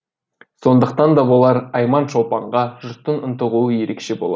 сондықтан да болар айман шолпанға жұрттың ынтығуы ерекше болады